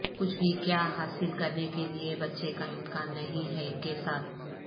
کچھ بھی کیا حاصل کرنے کے لئے بچے کا امکان نہیں ہے کے ساتھ